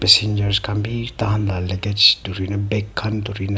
sinais khan bhi tan tan lakach turina bage khan thuri na.